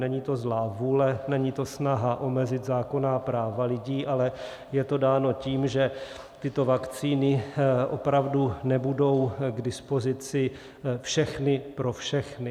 Není to zlá vůle, není to snaha omezit zákonná práva lidí, ale je to dáno tím, že tyto vakcíny opravdu nebudou k dispozici všechny pro všechny.